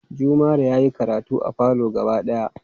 Jumare yayi karatu a falo gaba daya